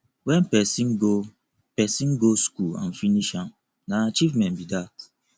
when persin go persin go school and finish am na achievement be that